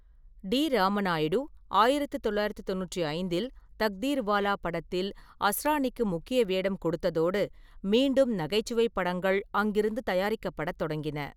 D. Ramanaidu ஆயிரத்து தொள்ளாயிரத்து தொண்ணூற்று ஐந்தில் தக்தீர்வாலா படத்தில் அஸ்ராணிக்கு முக்கிய வேடம் கொடுத்ததோடு, மீண்டும் நகைச்சுவைப் படங்கள் அங்கிருந்து தயாரிக்கப்படத் தொடங்கின.